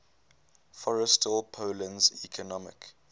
forestall poland's economic